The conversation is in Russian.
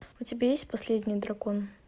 у тебя есть последний дракон